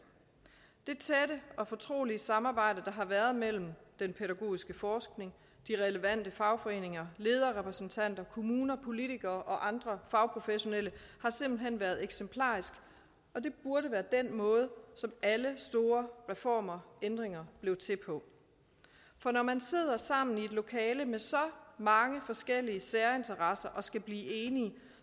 det og fortrolige samarbejde der har været mellem den pædagogiske forskning de relevante fagforeninger lederrepræsentanter kommuner politikere og andre fagprofessionelle har simpelt hen været eksemplarisk og det burde være den måde som alle store reformer og ændringer blev til på for når man sidder sammen i et lokale med så mange forskellige særinteresser og skal blive enige